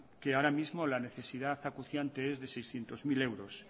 que ahora mismo la necesidad acuciante es de seiscientos mil euros